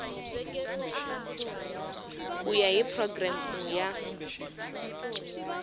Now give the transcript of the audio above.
ku ya hi programu ya